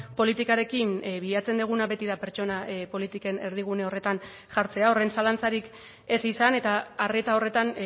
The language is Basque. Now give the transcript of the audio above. politikarekin bilatzen duguna beti da pertsona politiken erdigune horretan jartzea horren zalantzarik ez izan eta arreta horretan